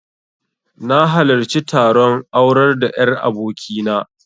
Na halarci taron aurar da 'yar aboki na